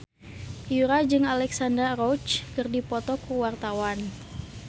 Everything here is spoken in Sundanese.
Yura jeung Alexandra Roach keur dipoto ku wartawan